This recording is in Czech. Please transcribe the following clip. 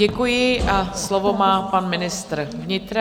Děkuji a slovo má pan ministr vnitra.